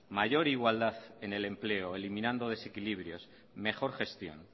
mayor igualdad en el empleo eliminando desequilibrios mejor gestión